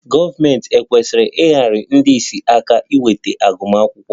Gọọmentị ekwesịghị inyere ndị ìsì aka inweta agụmakwụkwọ?